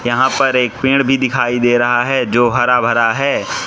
यहां पर एक पेड़ भी दिखाई दे रहा है जो हरा भरा है।